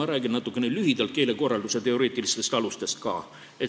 Ma räägin natuke keelekorralduse teoreetilistest alustest ka.